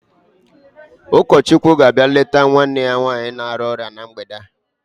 Ụkọchukwu ga-abịa leta nwanne ya nwanyị na-arịa ọrịa mgbede a.